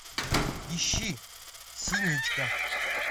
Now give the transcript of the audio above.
ищи синичка